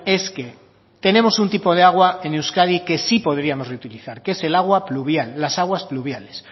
es que tenemos un tipo de agua en euskadi que sí podríamos reutilizar que es el agua fluvial las aguas fluviales